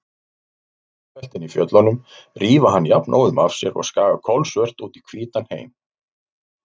Klettabeltin í fjöllunum rífa hann jafnóðum af sér og skaga kolsvört út í hvítan heim.